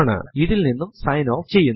ഇത് ഇൽ നിന്നും സൈൻ ഓഫ് ചെയ്യുന്നു